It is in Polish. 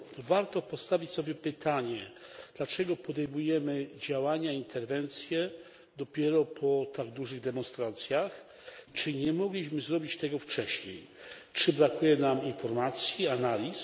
Warto postawić sobie pytanie dlaczego podejmujemy działania, interwencje dopiero po tak dużych demonstracjach? Czy nie mogliśmy zrobić tego wcześniej? Czy brakuje nam informacji, analiz?